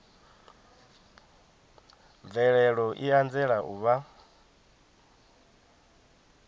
mvelelo i anzela u vha